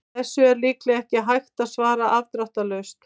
Þessu er líklega ekki hægt að svara afdráttarlaust.